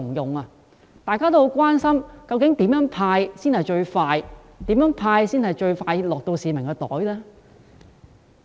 因此，大家很關心究竟怎樣"派錢"才能最快落入市民的口袋？